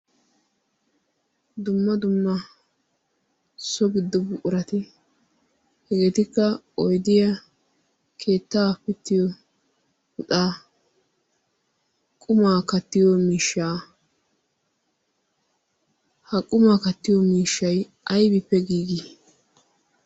dumma dumma so giddubu urati hegeetikka oydiya keettaa pittiyo puxaa qumaa kattiyo mishshaa ha qumaa kattiyo miishshay aybippe giigii?